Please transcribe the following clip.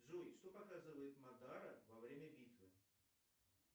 джой что показывает мадара во время битвы